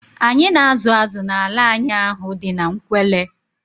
Anyị na azụ azụ n'ala anyị ahụ dị n'Nkwelle